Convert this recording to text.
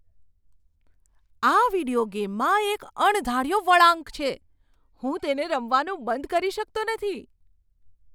આ વિડિયો ગેમમાં એક અણધાર્યો વળાંક છે. હું તેને રમવાનું બંધ કરી શકતો નથી!